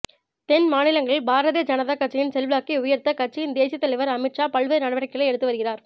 தென் மாநிலங்களில் பாரதிய ஜனதா கட்சியின் செல்வாக்கை உயர்த்த கட்சியின் தேசிய தலைவர் அமித்ஷா பல்வேறு நடவடிக்கைகளை எடுத்து வருகிறார்